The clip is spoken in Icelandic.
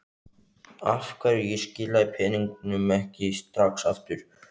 Af hverju ég skilaði peningunum ekki strax aftur.